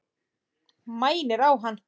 Mænir á hann.